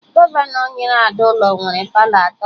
Gọvanọ nyere Ada ụlọ nwere Palọ atọ